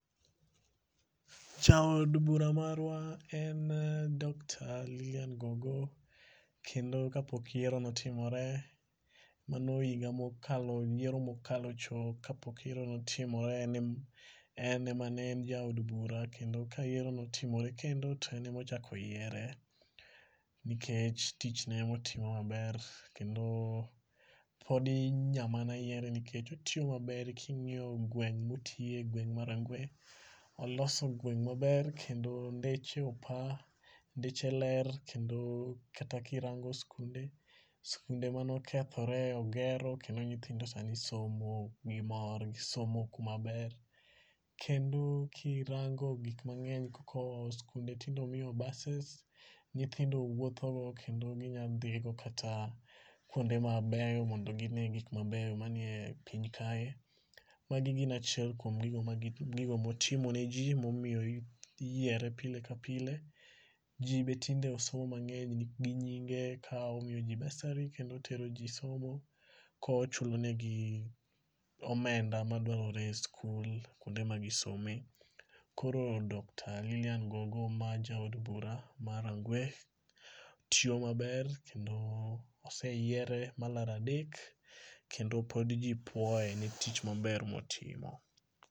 Jaod bura marwa en Doctor Lilian Ngogo, kendo kapok yiero notimore mano higa mokalo yiero mokalo cho kapok yiero notimore. En ema ne en jaod bura, kendo ka yiero notimore kendo to en ema ochak oyiere nikech tich ne motimo maber kendo podi nya mana yiere nikech otiyo maber. king'iyo gweng' motiye gweng' mar Rangwe, oloso gweng' maber kendo ndeche opa, ndeche ler, kendo kata kirango skunde manokethore ogero kendo nyithindo sani somo gi mor. Gisomo kumaber. Kendo kirango gik mang'eny, skunde tinde omiyo buses nyithindo wuothogo kendo ginya dhi go kata kwonde mabeyo mondo gine gik mabeyo manie piny kae. Magi gin achiel kuom gigo motimo ne ji momiyo iyiere pile ka pile. Ji be tinde osomo mang'eny gi nyinge ka omiyo ji bursary kendo otero ji somo kochulonegi omenda madwarore e skul kwonde ma gi some. Koro Doctor Lilian Ngogo ma jaod bura mar Rangwe tiyo maber kendo oseyiere malaro adek kendo pod ji puoye ni tich maber motimo.